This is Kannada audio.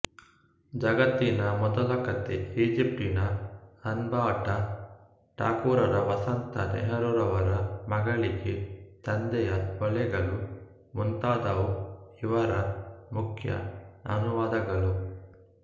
ಜಗತ್ತಿನ ಮೊದಲಕತೆ ಈಜಪ್ತಿನ ಅನ್ಬುಬಾಟ ಠಾಕೂರರ ವಸಂತ ನೆಹರೂರವರ ಮಗಳಿಗೆ ತಂದೆಯ ಓಲೆಗಳು ಮುಂತಾದವು ಇವರ ಮುಖ್ಯ ಅನುವಾದಗಳು